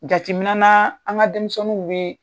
Jatemina naa an ŋa denmisɛniw bee